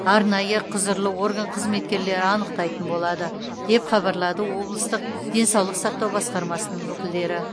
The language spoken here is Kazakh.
арнайы құзырлы орган қызметкерлері анықтайтын болады деп хабарлады облыстық денсаулық сақтау басқармасының өкілдері